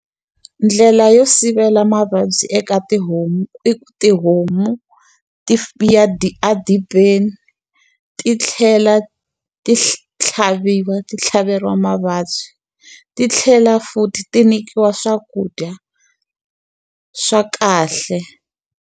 Ndlela yo sivela mavabyi eka tihomu, i ku tihomu ti ya edibeni, ti tlhela ti tlhaviwa ti tlhaveriwa mavabyi. Ti tlhela futhi ti nyikiwa swakudya swa kahle.